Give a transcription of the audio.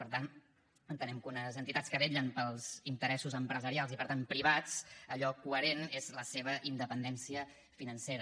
per tant entenem que unes entitats que vetllen pels interessos empresarials i per tant privats allò coherent és la seva independència financera